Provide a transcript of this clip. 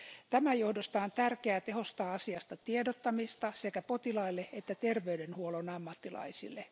Tämän johdosta on tärkeää tehostaa asiasta tiedottamista sekä potilaille että terveydenhuollon ammattilaisille.